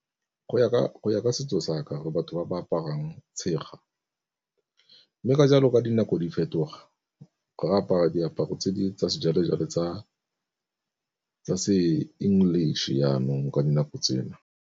Go ya ka setso sa ka re batho ba ba aparang tshega, mme ka jalo ka dinako di fetoga re apara diaparo tse di tsa sejwalejwale tsa se English jaanong ka dinako tsena.